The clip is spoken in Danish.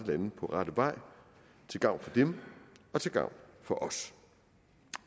lande på rette vej til gavn for dem og til gavn for os